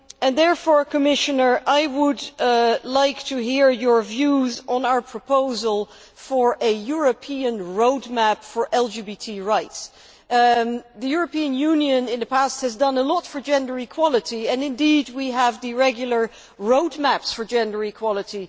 Therefore, Commissioner, I would like to hear your views on our proposal for a European road map for LGBT rights. The European Union has done a lot for gender equality in the past and, indeed, we have regular road maps for gender equality.